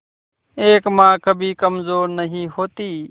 एक मां कभी कमजोर नहीं होती